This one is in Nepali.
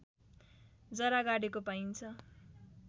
जरा गाडेको पाइन्छ